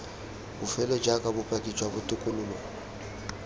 bofelo jaaka bopaki jwa botokololo